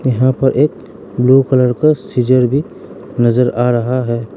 यहां पर एक ब्लू कलर का सीजर भी नजर आ रहा है।